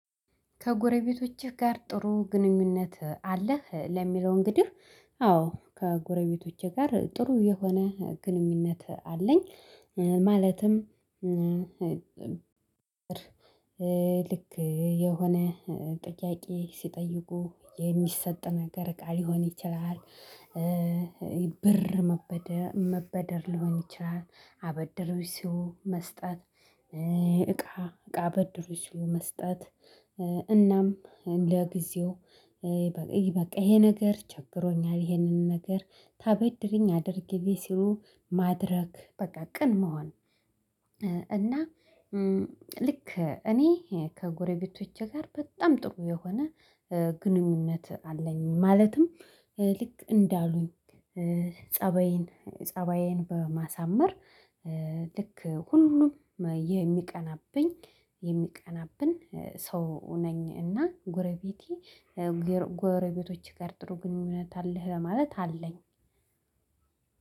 ከጎረቤቶችህ ጋር ጥሩ ግንኙነት አለህ? ለሚለው እንግዲህ አዎ ከጎረቤቶቼ ጋር ጥሩ የሆነ ግንኙነት አለኝ። ማለትም ልክ የሆነ ጥያቄ ሲጠይቁ የሚሰጥ ነገር እቃ ሊሆን ይችላል። ብር መበደር መበደር ሊሆን ይችላል አበድሩኝ ሲሉ መስጠት እቃ እቃ አበድሩኝ ሲሉ መስጠት። እናም ለጊዜው በቃ ይሄ ነገር ቸግሮኛል ይሄንን ነገር ታበድሪኝ አድርጊልኝ ሲሉ ማድረግ በቃ ቅን መሆን። እና ልክ እኔ ከጎረቤቶቼ ጋር በጣም ጥሩ የሆነ ግንኙነት አለኝ። ማለትም ልክ እንዳሉኝ ፀባዬን ፀባዬን በማሳመር ልክ ሁሉም የሚቀናብኝ የሚቀናብን ሰው ነኝ። እና ጎረቤቴ ጎረቤቶች ጋር ጥሩ ግንኙነት አለህ ማለት አለኝ።